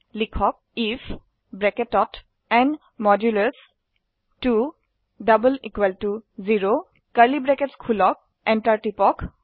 লিখক if enter টিপক